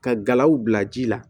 Ka galaw bila ji la